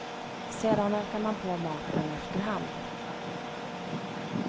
Sedan ökade man på maten efter hand.